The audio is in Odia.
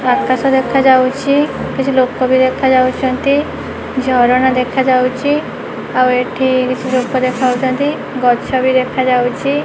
ଓ ଆକାଶ ଦେଖାଯାଉଛି କିଛି ଲୋକ ବି ଦେଖାଯାଉଚନ୍ତି ଝରଣା ଦେଖାଯାଉଚି ଆଉ ଏଠି କିଛି ଲୋକ ଦେଖାହଉଚନ୍ତି ଗଛ ବି ଦେଖାଯାଉଚି।